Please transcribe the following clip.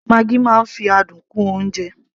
maggi máa ń fi adùn kún oúnjẹ